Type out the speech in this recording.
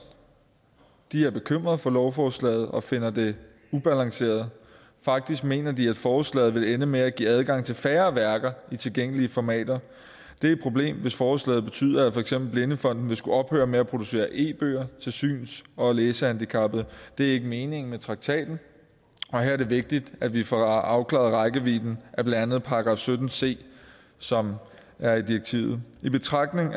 er bekymret for lovforslaget og finder det ubalanceret faktisk mener de at forslaget vil ende med at give adgang til færre værker i tilgængelige formater det er et problem hvis forslaget betyder at for eksempel blindefonden vil skulle ophøre med at producere e bøger til syns og læsehandicappede det er ikke meningen med traktaten og her er det vigtigt at vi får afklaret rækkevidden af blandt andet § sytten c som er i direktivet i betragtning